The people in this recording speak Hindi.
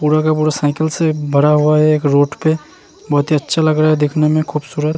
पूरा का पूरा साइकिल से भरा हुआ है एक रोड पे बहौत ही अच्छा लग रहा है दिखने में खूबसूरत।